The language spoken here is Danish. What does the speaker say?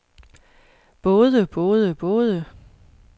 både både både